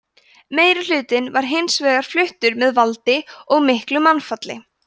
meirihlutinn var hins vegar fluttur með valdi og miklu mannfalli